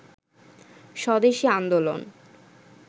স্বদেশি আন্দোলন